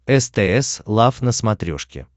стс лав на смотрешке